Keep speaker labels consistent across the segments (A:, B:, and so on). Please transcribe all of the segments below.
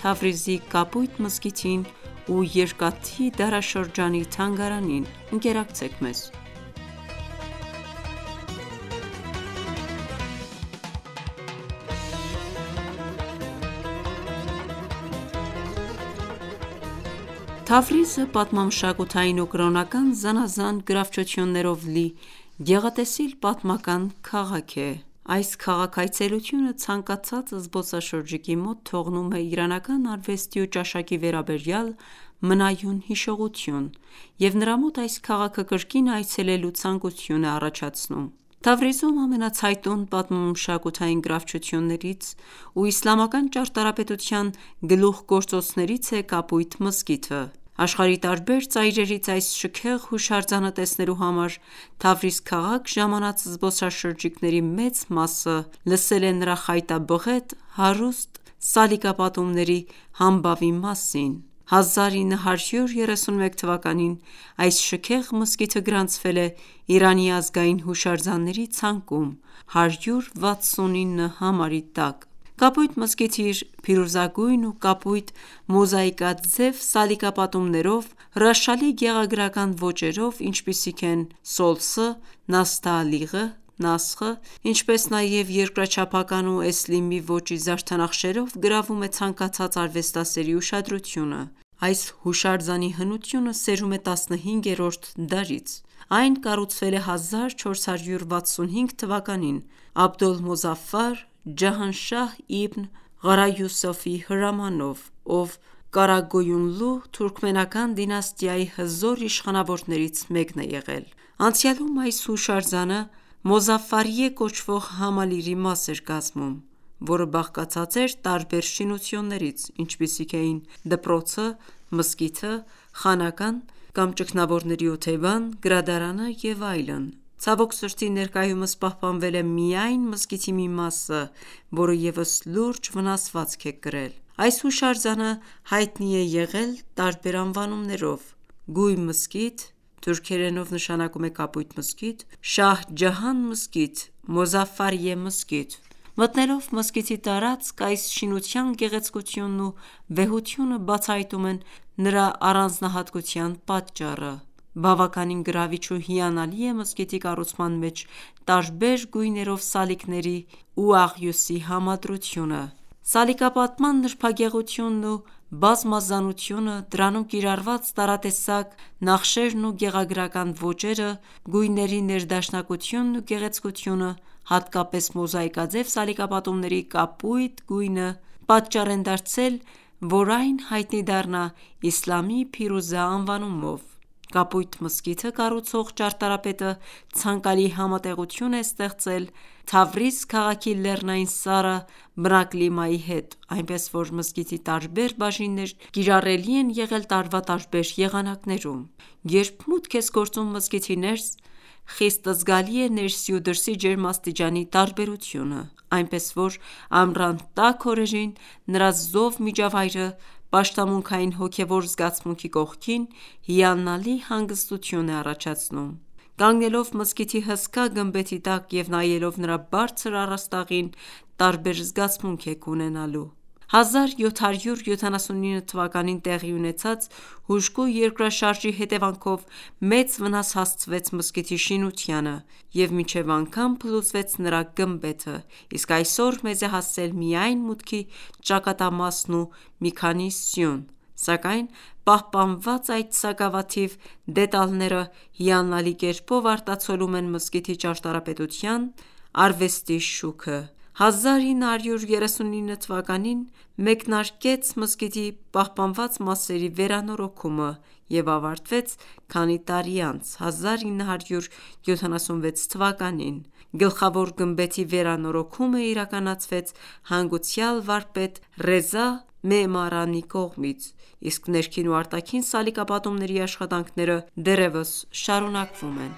A: Թավրիզի կապույտ մզկիթին ու երկաթի դարաշրջանի թանգարանին։ Թավրիզը պատմամշակութային ու կրոնական զանազան եզակի գրավչություններով լի գեղատեսիլ պատմական քաղաք է։ Այս քաղաքի այցելությունը ցանկացած զբոսաշրջիկի մոտ թողնում է իրանական արվեստի ու ճաշակի վերաբերյալ մնայուն հիշողություն և նրա մոտ այս քաղաքը կրկին այցելելու ցանկություն է առաջացնում։ Թավրիզում ամենացայտուն պատմամշակութային գրավչություններից ու իսլամական ճարտարապետության գլուխգործոցներից է Կապույտ մզկիթը։ Աշխարհի տարբեր ծայրերից այս շքեղ հուշարձանը տեսնելու համար Թավրիզ քաղաք ժամանած զբոսաշրջիկների մեծ մասը լսել է նրա խայտաբղետ, հարուստ սալիկապատումների համբավի մասին։ 1931թ. այս շքեղ մզկիթը գրանցվել է Իրանի ազգային հուշարձանների ցանկում 169 համարի տակ։ Կապույտ մզկիթը իր փիրուզագույն ու կապույտ մոզաիկաձև սալիկապատումներով, հրաշալի գեղագրական ոճերով, ինչպիսիք են՝ Սոլսը, Նասթաալիղը, Նասխը, ինչպես նաև երկրաչափական ու էսլիմի ոճի զարդանախշերով գրավում է ցանկացած արվեստասերի ուշադրությունը։ Այս հուշարձանի հնությունը սերում է 15-րդ դարից։ Այն կառուցվել է 1465թ. Աբոլմոզաֆֆար Ջահանհշահ Իբն Ղարաիոսեֆի հրամանով, ով Կարագոյունլու թուրքմենական դինաստիայի հզոր իշխանավորներից մեկն է եղել։ Անցյալում այս հուշարձանը «Մոզաֆֆարիեհ» կոչվող համալիրի մաս էր կազմում, որը բաղկացած էր տարբեր շինություններից, ինչպիսիք էին դպրոցը, մզկիթը, խանական (ճգնավորների օթևան), գրադարանը և այլն։ Ցավոք սրտի, ներկայումս պահպանվել է միայն մզկիթի մի մասը, որը ևս լուրջ վնասվածք է կրել։ Այս հուշարձանը հայտնի է եղել տարբեր անվանումներով՝ Գույ մզկիթ (թուրքերենով նշանակում է կապույտ մզկիթ), Շահ-Ջահան մզկիթ, Մոզաֆֆարիեհ մզկիթ։ Մտնելով մզկիթի տարածք, այս շինության գեղեցկությունն ու վեհությունը բացահայտում են նրա առանձնահատկության պատճառը։ Բավականին գրավիչ ու հիալնալի է մզկիթի կառուցման մեջ տարբեր գույներով սալիկների ու աղյուսի համադրությունը։ Սալիկապատման նրբագեղությունն ու բազմազանությունը, դրանում կիրառված տարատեսակ նախշերն ու գեղագրական ոճերը, գույների ներդաշնակությունն ու գեղեցկությունը, հատկապես մոզաիկաձև սալիկապատումների կապույտ գույնը, պատճառ են դարձել, որ այն հայտնի դառնա «Իսլամի փիրուզա» անվանումով։ Կապույտ մզկիթը կառուցող ճարտարապետը ցանկալի համատեղություն է ստեղծել Թավրիզ քաղաքի լեռնային սառը բնակլիմայի հետ, այնպես որ մզկիթի տարբեր բաժիններ կիրառելի են եղել տարվա տարբեր եղանակներում։ Երբ մուտք ես գործում մզկիթի ներս, խիստ զգալի է ներսի ու դրսի ջերմաստիճանի տարբերությունը, այնպես որ ամռան տաք օրերին նրա զով միջավայրը պաշտամունքային հոգևոր զգացմունքի կողքին հիանալի հանգստություն է առաջացնում։ Կանգնելով մզկիթի հսկա գմբեթի տակ, և նայելով նրա բարձր առաստաղին, տարբեր զգացմունք եք ունենալու։ 1779թ. տեղի ունեցած հուժկու երկրաշարժի հետևանքով մեծ վնաս հասցվեց մզկիթի շինությանը և մինչև անգամ փլուզվեց նրա գմբեթը, իսկ այսօր մեզ է հասել միայն մուտքի ճակատամասն ու մի քանի սյուն, սակայն պահպանված այդ սակավաթիվ դետալները հիանալի կերպով արտացոլում են մզկիթի ճարտարապետության արվեստի շուքը։ 1939թ. մեկնարկեց մզկիթի պահպանված մասերի վերանորոգումը և ավարտվեց քանի տարի անց՝ 1976թ.։ Գլխավոր գմբեթի վերանորոգումը իրականացվեց հանգուցյալ վարպետ Ռեզա Մեմարանի կողմից, իսկ ներքին ու արտաքին սալիկապատումների աշխատանքները դեռևս շարունակվում են։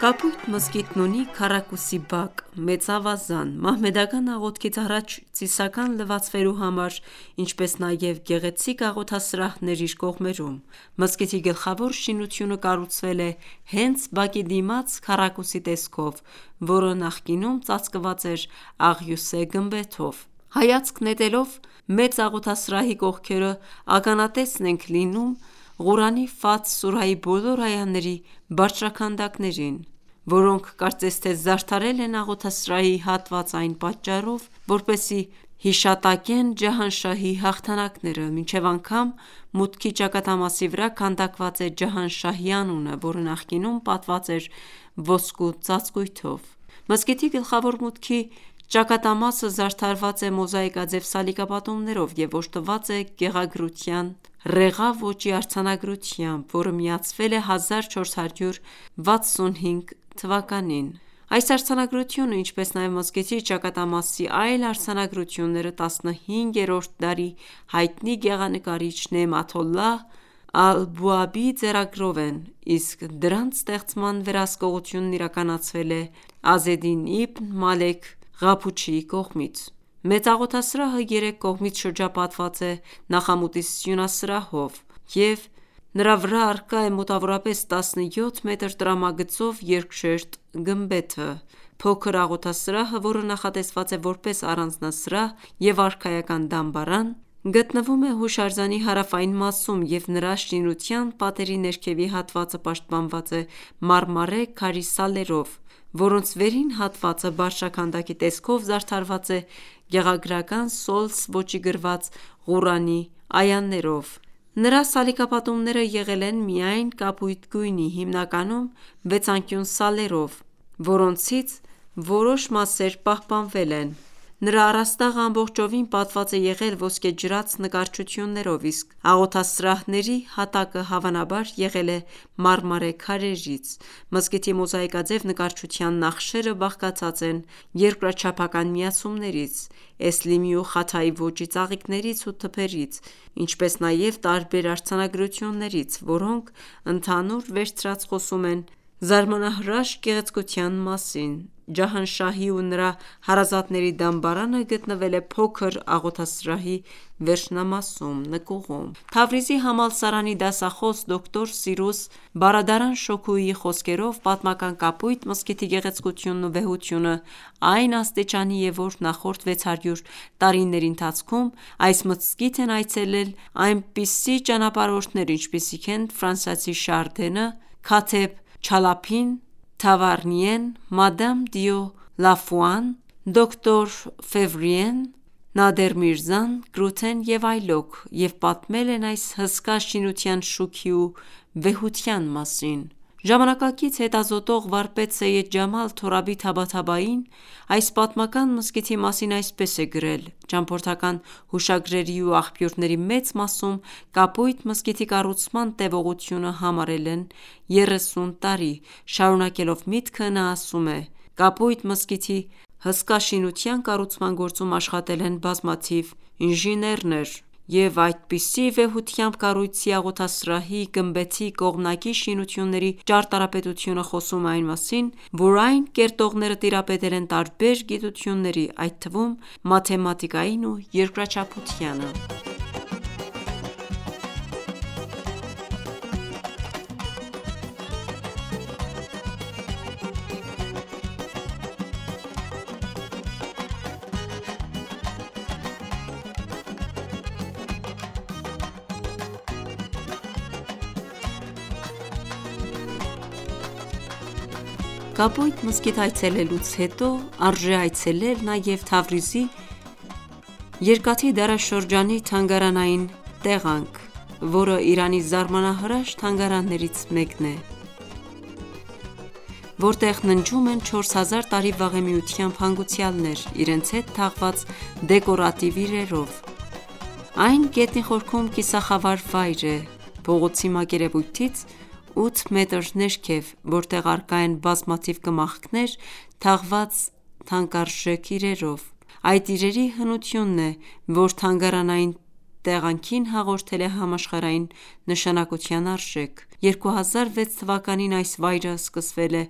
A: Կապույտ մզկիթն ունի քառակուսի բակ, մեծ ավազան՝ մահմեդական աղոթքից առաջ ծիսական լվացվելու համար, ինչպես նաև գեղեցիկ աղոթասրահներ իր կողմերում։ Մզկիթի գլխավոր շինությունը կառուցվել է հենց բակի դիմաց քառակուսի տեսքով, որը նախկինում ծածկված էր աղյուսե գմբեթով։ Հայացք նետելով մեծ աղոթասրահի կողքերը, ականատեսն ենք լինում Ղուրանի Ֆաթհ սուրայի բոլոր այաների բարձրաքանդակների, որոնք, կարծես թե, զարդարել են աղոթասրահի հատվածը այն պատճառով, որպեսզի հիշատակեն Ջահանշահի հաղթանակները։ Մինչև անգամ մուտքի ճակատամասի վրա քանդակված է Ջահանշահի անունը, որը նախկինում պատված էր ոսկու ծածկույթով։ Մզկիթի գլխավոր մուտքի ճակատամասը զարդարված է մոզաիկաձև սալիկապատումներով և օժտված է գեղագրության «Ռեղա» ոճի արձանագրությամբ, որը միացվել է 1465թ.։ Այս արձանագրությունը, ինչպես նաև մզկիթի ճակատամասի այլ արձանագրությունները 15-րդ դարի հայտնի գեղագրիչ Նեամաթոլլահ Ալբուաբի ձեռագրով են, իսկ դրանց ստեղծման վերահսկողությունը իրականացվել է Ազեդին Իբն Մալեք Ղափուչիի կողմից։ Մեծ աղոթասրահը երեք կողմից շրջապատված է նախամուտի սյունասրահով և նրա վրա առկա է մոտավորապես 17 մետր տրամագծով երկշերտ գմբեթը։ Փոքր աղոթասրահը, որը նախատեսված է որպես առանձնասրահ և արքայական դամբարան, գտնվում է հուշարձանի հարավային մասում և նրա շինության պատերի ներքևի հատվածը պաշտպանված է մարմարե քարի սալերով, որոնց վերին հատվածը բարձրաքանդակի տեսքով զարդարված է գեղագրական Սոլս ոճով գրված Ղուրանի այաներով։ Նրա սալիկապատումները եղել են միայն կապույտ գույնի՝ հիմնականում վեցանկյուն սալերով, որոնցից որոշ մասեր պահպանվել են։ Նրա առաստաղը ամբողջովին պատված է եղել ոսկեջրած նկարչություններով, իսկ աղոթասրահների հատակը հավանաբար եղել է մարմարե քարերից։ Մզկիթի մոզաիկաձև նկարչության նախշերը բաղկացած են երկրաչափական միացումներից, էսլիմի ու խաթայի ոճի ծաղիկներից ու թփերից, ինչպես նաև տարբեր արձանագրություններից, որոնք ընդհանուր վերցրած խոսում են զարմանահրաշ գեղցկության մասին։ Ջահանշահի ու նրա հարազատների դամբարանը գտնվել է փոքր աղոթասրահի վերջնամասում՝ նկուղում։ Թավրիզի համալսարանի դասախոս, դոկտոր Սիրուս Բարադարան Շոքուհիի խոսքերով, պատմական Կապույտ մզկիթի գեղեցկությունն ու վեհությունն այն աստիճանի է, որ նախորդ 600 տարիների ընթացքում այս մզկիթ են այցելել այնպիսի ճանապարհորդներ, ինչպիսիք են՝ ֆրանսիացի Շարդենը, Քաթեբ Չալափին, Թավարնիեն, Մադամ դիո Լաֆուան, դոկտոր Ֆեվրիեն, Նադեր Միրզան, Գրութեն և այլոք, և պատմել են այս հսկա շինության շուքի ու վեհության մասին։ Ժամանակակից հետազոտող, վարպետ, Սեյեդ Ջամալ Թորաբի Թաբաթաբային այս պատմական մզկիթի մասին այսպես է գրել. «Ճամփորդական հուշագրերի ու աղբյուրների մեծ մասում Կապույտ մզկիթի կառուցման տևողությունը համարել են 30 տարի»։ Շարունակելով միտքը, նա ասում է. «Կապույտ մզկիթի հսկա շինության կառուցման գործում աշխատել են բազմաթիվ ինժեներներ և այդպիսի վեհությամբ կառույցի՝ աղոթասրահի, գմբեթի, կողմնակի շինությունների ճարտարապետությունը խոսում է այն մասին, որ այն կերտողները տիրապետել են տարբեր գիտությունների, այդ թվում մաթեմատիկային ու երկրաչափությանը»։ Կապույտ մզկիթ այցելեուց հետո, արժե այցելել նաև Թավրիզի երկաթե դարաշրջանի թանգարանային տեղանք, որը Իրանի զարմանահրաշ թանգարաններից մեկն է, որտեղ ննջում են չորս հազար տարի վաղեմիությամբ հանգուցյալներ՝ իրենց հետ թաղված դեկորատիվ իրերով։ Այն գետնի խորքում կիսախավար վայր է (փողոցի մակերևույթից 8 մետր ներքև), որտեղ առկա են բազմաթիվ կմախքներ թաղված թանկարժեք իրերով։ Այդ իրերի հնությունն է, որ թանգարանային տեղանքին հաղորդել է համաշխարհային նշանակության արժեք։ 2006թ. այս վայրը սկսվել է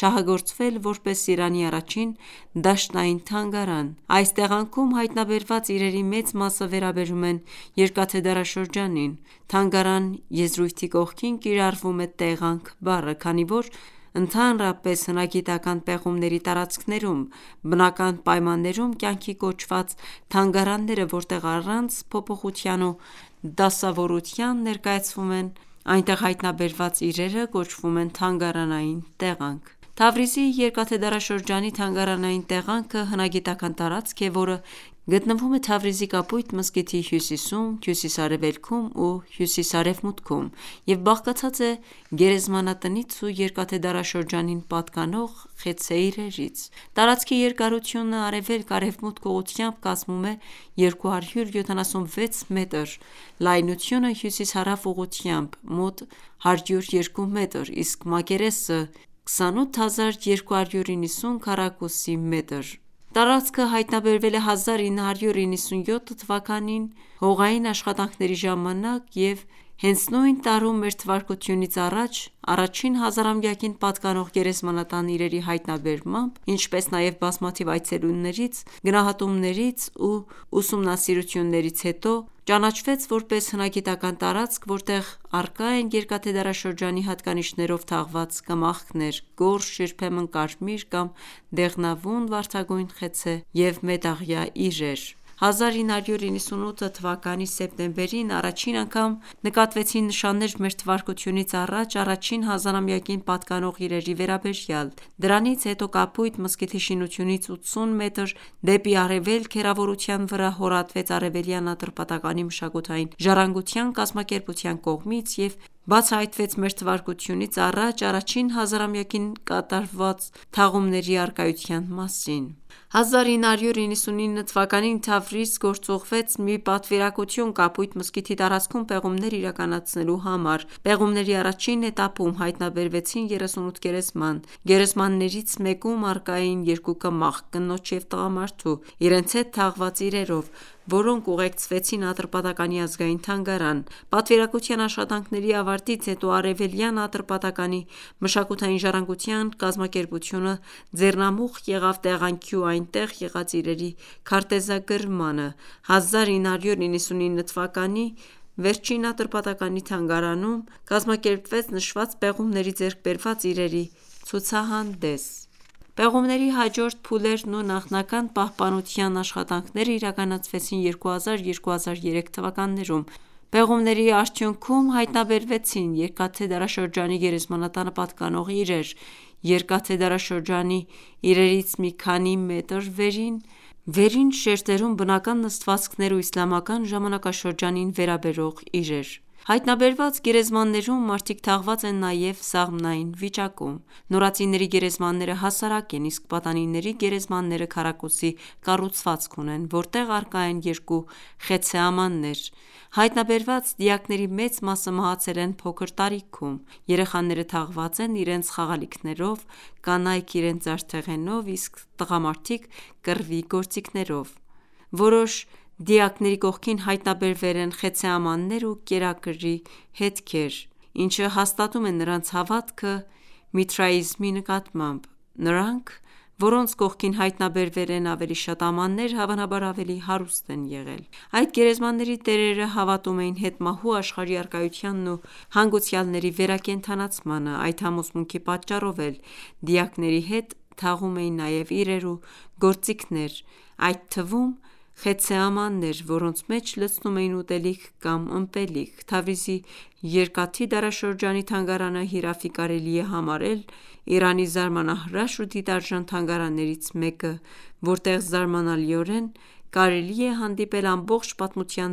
A: շահագործվել որպես Իրանի առաջին դաշտային թանգարան։ Այս տեղանքում հայտնաբերված իրերի մեծ մասը վերաբերում են երկաթե դարաշրջանին։ «Թանգարան» եզրույթի կողքին կիրառվում է «տեղանք» բառը, քանի որ ընդհանրապես հնագիտական պեղումների տարածքներում բնական պայմաններում կյանքի կոչված թանգարանները, որտեղ առանց փոփոխության ու դասավորության ներկայացվում են այնտեղ հայտնաբերված իրերը, կոչվում են թանգարանային տեղանք։ Թավրիզի երկաթե դարաշրջանի թանգարանային տեղանքը հնագիտական տարածք է, որը գտնվում է Թավրիզի Կապույտ մզկիթի հյուսիսում, հյուսիս-արևելքում ու հյուսիս-արևմուտքում և բաղկացած է գերեզմանատնից ու երկաթե դարաշրջանին պատկանող խեցե իրերից։ Տարածքի երկարությունը արևելք-արևմուտք ուղղությամբ կազմում է 276 մետր, լայնությունը հյուսիս-հարավ ուղղությամբ՝ մոտ 102 մետր, իսկ մակերեսը՝ 28290 քմ (մոտ 3 հեկտար)։ Տարածքը հայտնաբերվել է 1997թ. հողային աշխատանքների ժամանակ և հենց նույն տարում մթա առաջին հազարամյակին պատկանող գերեզմանատան իրերի հայտնաբերմամբ, ինչպես նաև բազմաթիվ այցելություններից, գնահատումներից ու ուսումնասիրություններից հետո ճանաչվեց որպես հնագիտական տարածք, որտեղ առկա են երկաթե ժամանակաշրջանի հատկանիշներով թաղված կմախքներ, գորշ, երբեմն կարմիր կամ դեղնավուն վարդագույն խեցե և մետաղյա իրեր։ 1998թ. սեպտեմբերին առաջին անգամ նկատվեցին նշաններ մթա առաջին հազարամյակին պատկանող իրերի վերաբերյալ։ Դրանից հետո Կապուտ մզկիթի շինությունից 80 մետր դեպի արևելք հեռավորության վրա հորատվեց Արևելյան Ատրպատականի մշակութային ժառանգության կազմակերպության կողմից և բացահայտվեց մթա առաջին հազարամյակին կատարված թաղումների առկայության մասին։ 1999թ. Թավրիզ գործուղվեց մի պատվիրակություն Կապույտ մզկիթի տարածքում պեղումներ իրականացնելու համար։ Պեղումների առաջին էտապում հայտնաբերվեցին 38 գերեզման։ Գերեզմաններից մեկում առկա էին 2 կմախք՝ կնոջ և տղամարդու՝ իրենց հետ թաղված իրերով, որոնք ուղղարկվեցին Ատրպատականի ազգային թանգարան։ Պատվիրակության աշխատանքների ավարտից հետո Արևելյան Ատրպատականի մշակութային ժառանգության կազմակերպությունը ձեռնամուխ եղավ տեղանքի ու այնտեղ եղած իրերի քարտեզագրմանը։ 1999թ. վերջին Ատրպատականի թանգարանում կազմակերպվեց նշված պեղումներով ձեռք բերված իրերի ցուցահանդես։ Պեղումների հաջորդ փուլերն ու նախնական պահպանության աշխատանքները իրականացվեցին 2000-2003թթ. ընթացքում։ Պեղումների արդյունքում հայտնաբերվեցին երկաթե դարաշրջանի գերեզմանատանը պատկանող իրեր, երկաթե դարաշրջանի իրերից մի քանի մետր վերև՝ վերին շերտերում բնական նստվածքներ ու իսլամական ժամանակաշրջանին վերաբերող իրեր։ Հայտնաբերված գերեզմաններում մարդիկ թաղված են նաև սաղմնային վիճակում։ Նորածինների գերեզմանները հասարակ են, իսկ պատանիների գերեզմանները քառակուսի կառուցվածք ունեն, որտեղ առկա են երկու խեցցե ամաններ։ Հայտնաբերված դիակների մեծ մասը մահացել են փոքր տարիքում։ Երեխաները թաղված են իրենց խաղալիքներով, կանայք՝ իրենց զարդեղենով, իսկ տղամարդիկ կռվի գործիքներով։ Որոշ դիակների կողքին հայտնաբերվել են խեցցե ամաններ ու կերակուրի հետքեր, ինչը հաստատում է նրանց հավատքը միթրաիզզմի նկատմամբ։ Նրանք, որոնց կողքին հայտնաբերվել են ավելի շատ ամաններ, հավանաբար ավելի հարուստ են եղել։ Այդ գերեզմանների տերերը հավատում էին հետմահու աշխարհի առկայությանն ու հանգուցյալների վերակենդանացմանը։ Այդ համոզմունքի պատճառով էլ դիակների հետ թաղում էին նաև իրեր ու գործիքներ, այդ թվում խեցցե ամաննեեր, որոնց մեջ լցնում էին ուտելիք կամ ըմպելիք։ Թավրիզի երկաթի դարաշրջանի թանգարանը հիրավի կարելի է համարել Իրանի զարմանահրաշ ու դիտարժան թանգարաններից մեկը, որտեղ զարմանալիորեն կարելի է հանդիպել ամբողջ պատմության